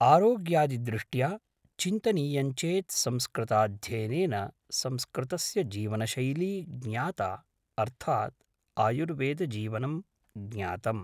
आरोग्यादिदृष्ट्या चिन्तनीयञ्चेत् संस्कृताध्ययनेन संस्कृतस्य जीवनशैली ज्ञाता अर्थात् आयुर्वेदजीवनं ज्ञातम्